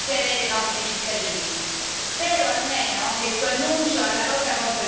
Eppure la stella polare di noi medici dovrebbe essere il benessere dei nostri cittadini.